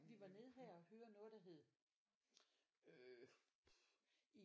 Vi var nede her og høre noget der hed øh